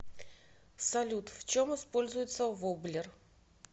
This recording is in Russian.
салют в чем используется воблер